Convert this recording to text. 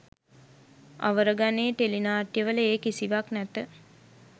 අවර ගණයේ ටෙලිනාට්‍යවල ඒ කිසිවක් නැත